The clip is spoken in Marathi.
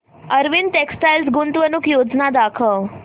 अरविंद टेक्स्टाइल गुंतवणूक योजना दाखव